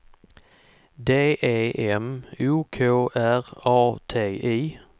D E M O K R A T I